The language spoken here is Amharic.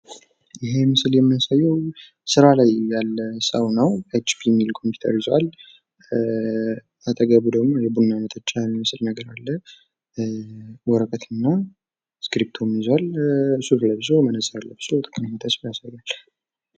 ይህ ምስል የሚያሳዬው ስራ ላይ ያለ ሰው ነው። ኤችፒ የሚል ኮፒውተር ይዟል አጠገቡ ደግሞ ቡና መጠጫ የሚመስል ነገር አለ። ወረቀትና እስክርቢቶ ይዟል ሱፍ ለብሶ መነፀር ለብሶ ያሳያል።